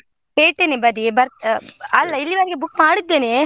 ಪೇಟೆನೇ ಬದಿ ಬರ್~ ಆ ಇಲ್ಲಿವರೆಗೆ book ಮಾಡಿದ್ದೇನೆ.